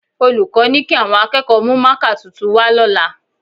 Olùkọ́ ni kí àwọn akẹ́kọ̀ọ́ mú mákà tuntun wá lọ́la